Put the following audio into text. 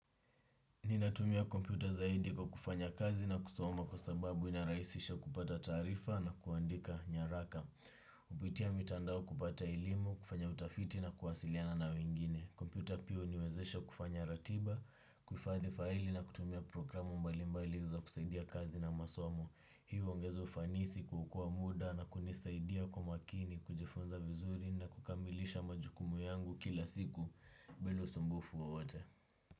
Ninatumia kompyuta zaidi kwa kufanya kazi na kusoma kwa sababu inarahisisha kupata taarifa na kuandika nyaraka. Kupitia mitandao kupata elimu kufanya utafiti na kuwasiliana na wengine. Kompyuta pia huniwezesha kufanya ratiba, kuhifadhi faili na kutumia programu mbali mbali za kusaidia kazi na masomu. Hii huongeza ufanisi kuokoa muda na kunisaidia kwa makini, kujifunza vizuri na kukambilisha majukumu yangu kila siku bila usumbufu wowote.